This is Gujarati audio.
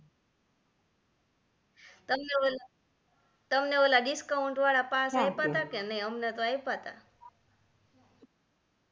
તમને ઓલ તમને ઓલા discount વાળા પાસ આપ્યા તા કે નાઈ અમને તો આઈપા તા